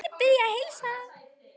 Allir biðja að heilsa.